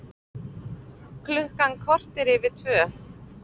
Klukkan korter yfir tvö